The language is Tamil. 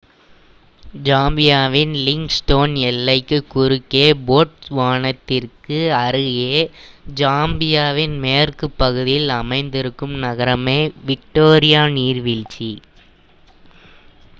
ஜாம்பியாவின் லிவிங்ஸ்டோன் எல்லைக்கு குறுக்கே போட்ஸ்வானாவிற்கு அருகே ஜிம்பாப்வேயின் மேற்கு பகுதியில் அமைந்திருக்கும் நகரமே விக்டோரியா நீர்வீழ்ச்சி